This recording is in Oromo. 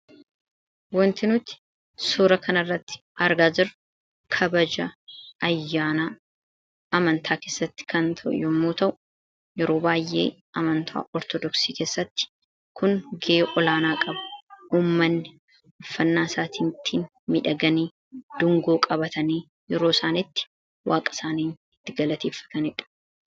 Wanti nuti suura kana irratti argaa jiru kabaja ayyaanaa amantaa keessatti kan ta'e yommuu ta'u yeroo baay'ee amantaa Ortodoksii keessatti kun ga'e olaanaa qaba. Uummanni uffannaa isaaniitiin miidhaganii, dungoo qabatanii yeroo isaan itti waaqa isaanii itti galateeffataniidha.